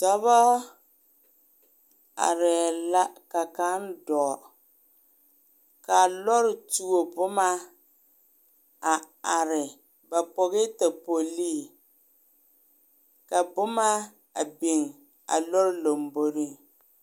Dɔba arɛɛ la ka kaŋ dɔge ka lɔrɔɔ tuo boma a are ba pogɛɛ topoli ka boma a biŋ a lɔrɔɔ lomboriŋ